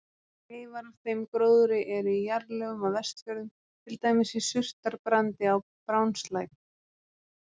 Leifar af þeim gróðri eru í jarðlögum á Vestfjörðum, til dæmis í surtarbrandi á Brjánslæk.